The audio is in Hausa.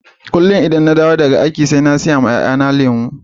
Kullum idan na dawo daga aiki sai in sayi ruwan 'ya'yana